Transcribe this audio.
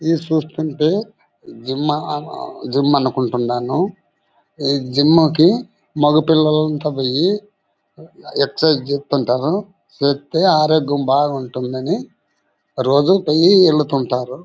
ఇది చూస్తుంటే జిమ్ మా ఆ ఆ జిమ్ అనుకుంటున్నాను. ఈ జిమ్ కి మగ పిల్లలంతా పోయి ఎక్ససైజ్ చేస్తుంటారు. చేస్తే ఆరోగ్యం బాగుంటుందని రోజు పోయి ఏలుతుంటారు.